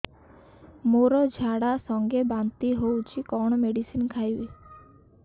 ମୋର ଝାଡା ସଂଗେ ବାନ୍ତି ହଉଚି କଣ ମେଡିସିନ ଖାଇବି